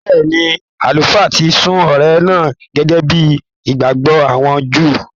Bẹ́ẹ̀ni, Àlùfáà ti sun ọrẹ náà gẹ́gẹ́ bí ìgbàgbọ́ àwọn Júù.